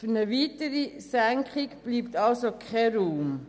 Für eine weitere Senkung bleibt also kein Raum.